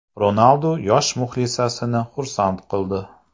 Ronaldu yosh muxlisasini xursand qildi .